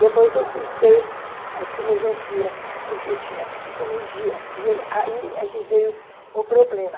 Depois eu cursei Filosofia, ãh, porque tinha Psicologia, e aí é que veio o problema.